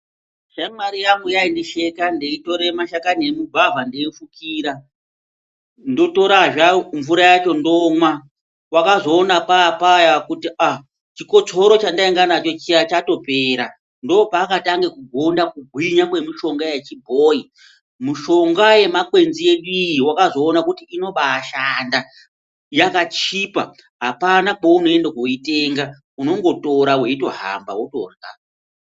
Shamwari yangu yaindisheka ndeitore mashakani emugwavha ndeifukira ndotorazve mvura yacho ndomwa, wakazoona paapaya kuti ahh chikotsoro chendainga nacho chiya chatoopera ndoopaakatanga kugonda kugwinya kwemishonga yechibhoyi mushonga yemakwenzi edu iyi wakazoona kuti inobaashanda yakachipa apana kweunoenda kooitenga unongotora weitohamba wotorhya.